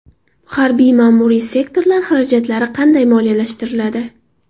Harbiy-ma’muriy sektorlar xarajatlari qanday moliyalashtiriladi?.